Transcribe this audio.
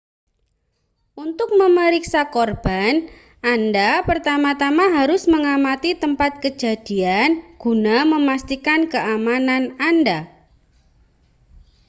untuk memeriksa korban anda pertama-tama harus mengamati tempat kejadian guna memastikan keamanan anda